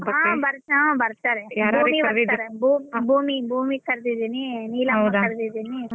ಬರ್ತಾರೆ ಭೂಮಿ ಭೂಮಿ ಕರ್ದಿದಿನಿ ನೀಲಮ್ಮ ಕರ್ದಿದೀನಿ.